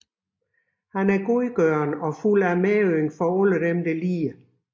Han er godgørende og fuld af medynk for alle lidende